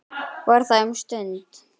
Var þar um stund.